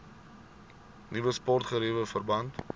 nuwe sportgeriewe verband